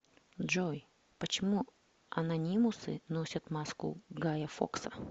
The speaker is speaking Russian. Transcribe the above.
джой почему анонимусы носят маску гая фокса